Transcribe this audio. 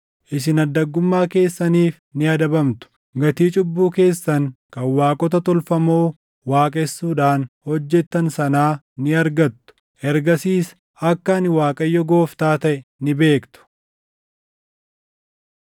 Isin addaggummaa keessaniif ni adabamtu; gatii cubbuu keessan kan waaqota tolfamoo waaqessuudhaan hojjettan sanaa ni argattu. Ergasiis akka ani Waaqayyo Gooftaa taʼe ni beektu.”